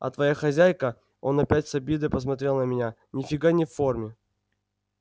а твоя хозяйка он опять с обидой посмотрел на меня ни фига не в форме